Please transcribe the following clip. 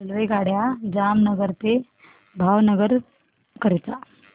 रेल्वेगाड्या जामनगर ते भावनगर करीता